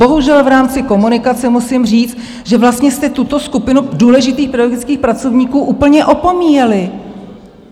Bohužel v rámci komunikace musím říct, že vlastně jste tuto skupinu důležitých pedagogických pracovníků úplně opomíjeli.